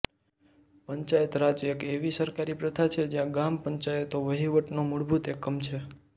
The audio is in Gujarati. પંચાયત રાજ એક એવી સરકારી પ્રથા છે જ્યાં ગ્રામ પંચાયતો વહીવટનો મૂળભૂત એકમ છે